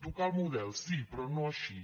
tocar el model sí però no així